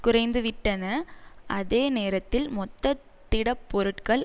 குறைந்துவிட்டன அதே நேரத்தில் மொத்த திடப்பொருட்கள்